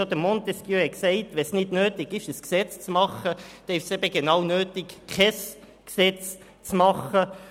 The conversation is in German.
Schon Montesquieu sagte: Wenn es nicht notwendig ist, ein Gesetz zu machen, dann ist es notwendig, kein Gesetz zu machen.